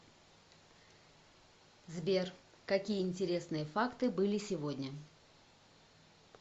сбер какие интересные факты были сегодня